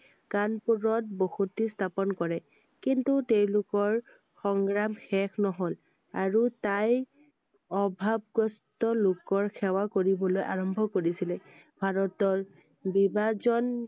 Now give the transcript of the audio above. কানপুৰত বসতি স্থাপন কৰে। কিন্তু তেওঁলোকৰ সংগ্ৰাম শেষ নহʼল আৰু তাই অভাৱগ্ৰস্ত লোকৰ সেৱা কৰিবলৈ আৰম্ভ কৰিছিলে। ভাৰতৰ বিভাজন